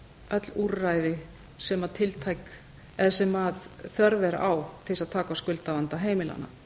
öll úrræði sem þörf er á til þess að taka á skuldavanda heimilanna